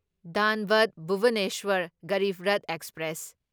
ꯙꯥꯟꯕꯗ Bhubaneswar Garib Rath express